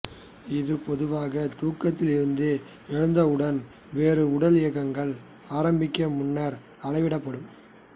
இது பொதுவாக தூக்கத்தில் இருந்து எழுந்தவுடன் வேறு உடல் இயக்கங்கள் ஆரம்பிக்க முன்னர் அளவிடப்படும்